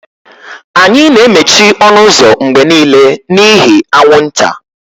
Anyị na-emechi ọnụ ụzọ mgbe niile n'ihi anwụnta.